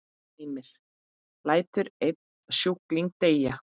Heimir: Lætur einn sjúkling deyja?